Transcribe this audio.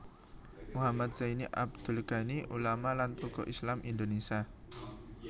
Muhammad Zaini Abdul Ghani ulama lan tokoh Islam Indonesia